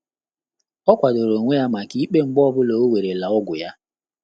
Ọ́ kwàdòrò ónwé yá màkà íkpé mgbè ọ́ bụ́lá ọ́ wéré la ọ́gwụ́ yá.